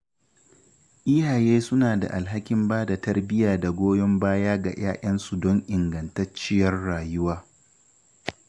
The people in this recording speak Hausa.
Iyaye suna da alhakin ba da tarbiyya da goyon baya ga ‘ya’yansu don ingantacciyar rayuwa.